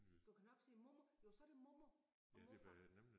Du kan nok sige mormor jo så det mormor og morfar